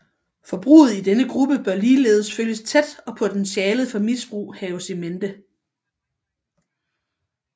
Forbruget i denne gruppe bør ligeledes følges tæt og potentialet for misbrug haves in mente